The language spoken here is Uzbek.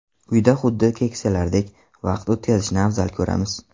Uyda xuddi keksalardek vaqt o‘tkazishni afzal ko‘ramiz.